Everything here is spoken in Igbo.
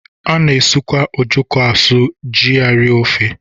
A na-asụkwa ojoko asụ iji rie ofe.